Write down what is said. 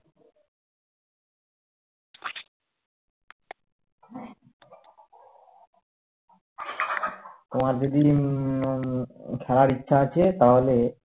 তোমার যদি উম খেলার ইচ্ছে আছে তাহলে